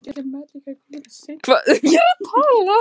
Hvaða viðbrögð fenguð þið eftir þetta?